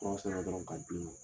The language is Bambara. Tɔgɔ sɛbɛn dɔrɔn k'a di ma.